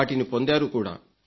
వాటిని పొందారు కూడా